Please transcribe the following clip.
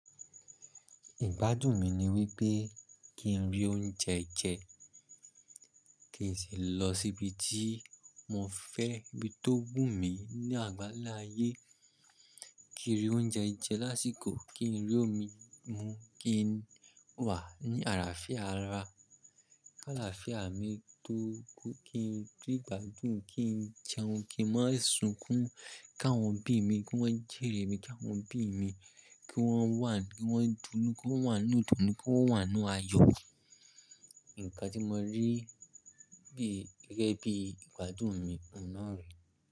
Ìgbádùn mi ni wípé kí n rí oúnjẹ jẹ, kí n sì lọ sí ibi tí mo fẹ́, ibi tó wù mí ní àgbála ayé. Kí n rí oúnjẹ jẹ lásìkò, kí n rí omi mu, kí n wà ní àlàáfíà ara, kálàáfíà mi tó kú, kí n rí ìgbádùn, kí n jẹun, kí n má sùnkún, ká wọ́n obí mi, kí wọ́n jẹ́rè mi, ki awọ́n bí mi, kí wọ́n wà, kí wọ́n dùnú, kí wọ́n wà inu idùnu, kí wọ́n wà inu ayọ̀. Ǹkan tí mo rí bí gẹ́gẹ́ bí ìgbádùn mi ọ̀nà rẹ.